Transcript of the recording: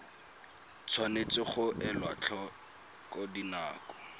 tshwanetse ga elwa tlhoko dinako